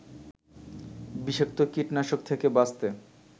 বিষাক্ত কীটনাশক থেকে বাঁচতে